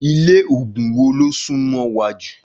Ilé ògùn wo ló sún mó wa jù?